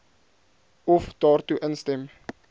of daartoe instem